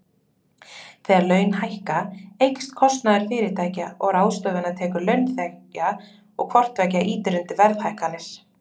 Þegar laun hækka, eykst kostnaður fyrirtækja og ráðstöfunartekjur launþega og hvort tveggja ýtir undir verðhækkanir.